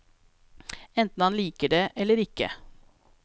Enten han liker det, eller ikke.